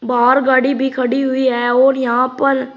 बाहर गाड़ी भी रखी हुई है और यहां पर--